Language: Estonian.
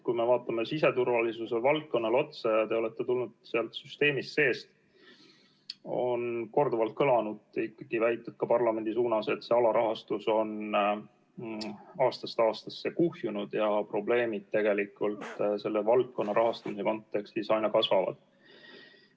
Kui me vaatame siseturvalisuse valdkonda – teie olete tulnud sealt süsteemist seest –, siis on korduvalt kõlanud ikkagi väited ka parlamendi suunas, et alarahastus on aastast aastasse kuhjunud ja probleemid selle valdkonna rahastamise kontekstis aina kasvavad.